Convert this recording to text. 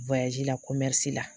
la la